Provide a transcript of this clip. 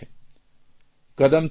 કદમથી કદમ મેળવીને આગળ વધી રહ્યો છે